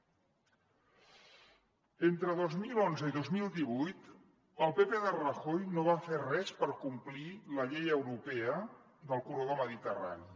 entre dos mil onze i dos mil divuit el pp de rajoy no va fer res per complir la llei europea del corredor mediterrani